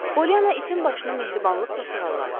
Polyana itin başını mehribanlıqla sığalladı.